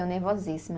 Eu nervosíssima.